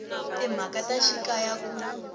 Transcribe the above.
ya timhaka ta xikaya ku